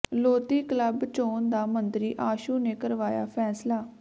Lodhi club ਚੋਣ ਦਾ ਮੰਤਰੀ ਆਸ਼ੂ ਨੇ ਕਰਵਾਇਆ ਫ਼ੈਸਲਾ